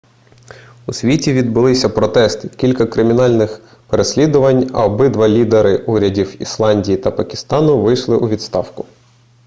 у світі відбулися протести кілька кримінальних переслідувань а обидва лідери урядів ісландії та пакистану пішли у відставку